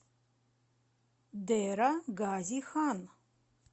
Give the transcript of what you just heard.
дера гази хан